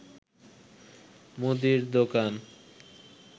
মুদীর দোকান